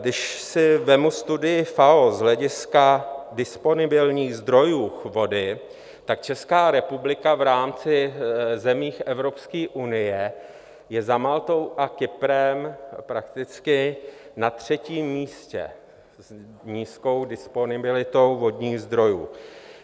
Když si vezmu studii FAO z hlediska disponibilních zdrojů vody, tak Česká republika v rámci zemí Evropské unie je za Maltou a Kyprem prakticky na třetím místě s nízkou disponibilitou vodních zdrojů.